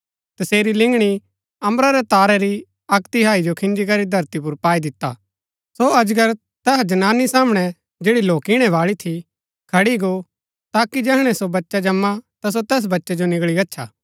तसेरी लिंगणी अम्बरा रै तारै री अक्क तिहाई जो खिंजीकरी धरती पुर पाई दिता सो अजगर तैहा जनानी सामणै जैड़ी लौकिणै बाळी थी खड़ी गो ताकि जैहणै जो बच्चा जमां ता सो तैस बच्चै जो निगळी गच्छा